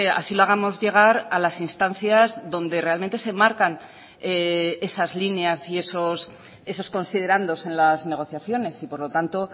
así lo hagamos llegar a las instancias donde realmente se marcan esas líneas y esos considerandos en las negociaciones y por lo tanto